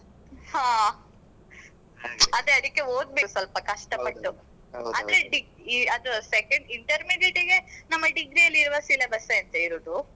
ಹಾ ಅದೇ ಅದಿಕ್ಕೆ ಓದ್ಬೇಕು ಸ್ವಲ್ಪ ಕಷ್ಟಪಟ್ಟು ಆದ್ರೆ ಅದು second intermediate ನಮ್ಮ degree ಅಲ್ಲಿ ಇರುವ syllabus ಏ ಇರುದು.